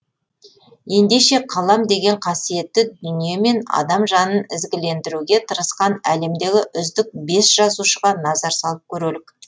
ендеше қалам деген қасиетті дүниемен адам жанын ізгілендіруге тырысқан әлемдегі үздік бес жазушыға назар салып көрелік